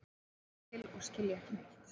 Lítil og skilja ekki neitt.